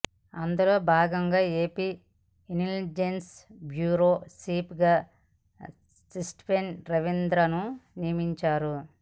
అందులో భాగంగా AP intelligence bureau chief గా స్టీఫెన్ రవీంద్రను నియమించారు